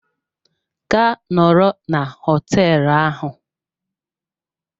Gaa nọrọ na hoteelu ahụ!